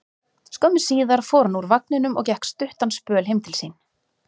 Skömmu síðar fór hann úr vagninum og gekk stuttan spöl heim til sín.